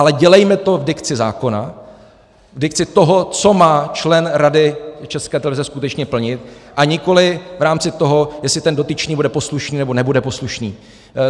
Ale dělejme to v dikci zákona, v dikci toho, co má člen Rady České televize skutečně plnit, a nikoliv v rámci toho, jestli ten dotyčný bude poslušný, nebo nebude poslušný.